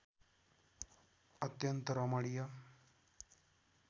अत्यन्त रमणीय